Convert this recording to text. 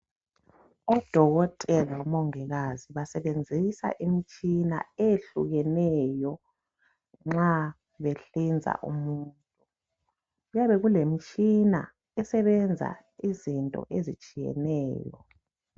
Odokotela labo mongikazi basebenzisa imitshina eyehlukeneyo nxa behlinza umuntu. Kuyabe kulemitshina esebenza izinto ezitshiyeneyo.